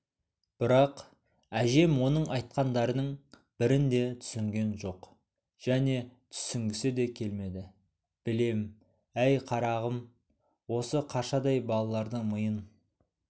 бірақ әжем оның айтқандарының бірін де түсінген жоқ және түсінгісі де келмеді білем әй қарағам осы қаршадай балалардың миын